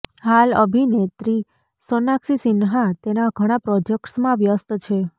હાલ અભિનેત્રી સોનાક્ષી સિન્હા તેના ઘણા પ્રોજેક્ટ્સમાં વ્યસ્ત છે